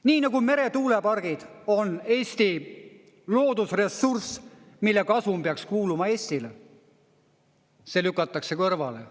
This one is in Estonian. Nii nagu meretuulepargid on Eesti loodusressurss, mille kasum peaks kuuluma Eestile, see lükatakse kõrvale.